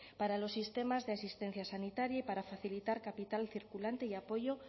para los sistemas de asistencia sanitaria y para facilitar capital circulante y apoyo